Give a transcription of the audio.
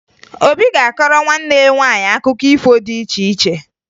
Obi ga-akọọrọ nwanne ya nwaanyị akụkọ ifo dị iche iche